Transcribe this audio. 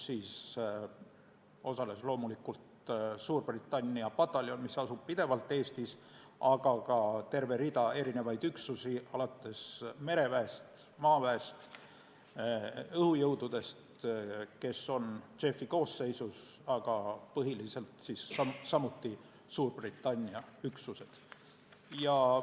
Sellel osales loomulikult Suurbritannia pataljon, mis asub pidevalt Eestis, aga ka terve hulk üksusi alates mereväest, maaväest ja õhujõududest, kes on JEF-i koosseisus, aga põhiliselt samuti Suurbritannia üksused.